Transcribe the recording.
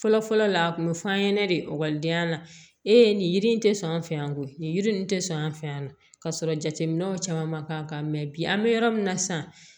Fɔlɔ fɔlɔ la a kun bɛ f'an ɲɛnɛ de ekɔlidenya la e ye nin yiri in tɛ sɔn an fɛ yan koyi nin yiri in tɛ sɔn an fɛ yan nɔ ka sɔrɔ jateminɛw caman ma k'an kan mɛ bi an bɛ yɔrɔ min na sisan